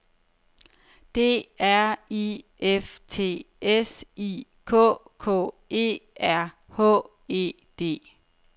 D R I F T S I K K E R H E D